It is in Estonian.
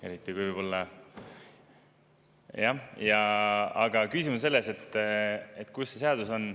Aga küsimus oli selle kohta, kus see seaduses kirjas on.